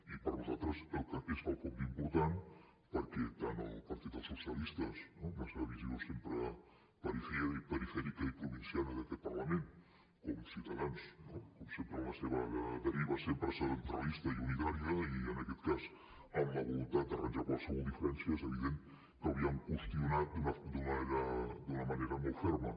i per nosaltres és quelcom d’important perquè tant el partit dels socialistes amb la seva visió sempre perifèrica i provinciana d’aquest parlament com ciutadans no com sempre amb la seva deriva sempre centralista i unitària i en aquest cas amb la voluntat d’arranjar qualsevol diferència és evident que ho havien qüestionat d’una manera molt ferma